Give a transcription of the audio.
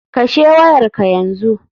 Kashe wayar ka yanzu.